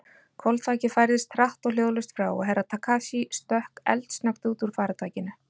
Hvolfþakið færðist hratt og hljóðlaust frá og Herra Takashi stökk eldsnöggt út úr faratækinu.